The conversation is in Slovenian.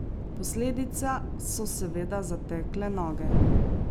Posledica so seveda zatekle noge.